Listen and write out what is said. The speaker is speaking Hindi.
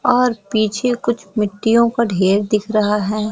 और पीछे कुछ मिट्टियों का ढेर दिख रहा हैं।